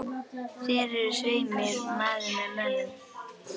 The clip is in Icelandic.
Þér eruð svei mér maður með mönnum.